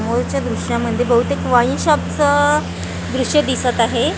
समोरच्या दृश्यामध्ये बहुतेक वाईन शॉपचं दृश्य दिसत आहे आ--